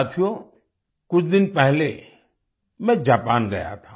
साथियो कुछ दिन पहले मैं जापान गया था